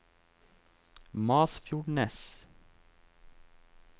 Masfjordnes